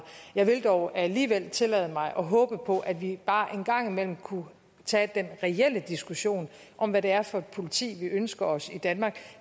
jeg vil dog alligevel tillade mig at håbe på at vi bare en gang imellem kunne tage den reelle diskussion om hvad det er for et politi vi ønsker os i danmark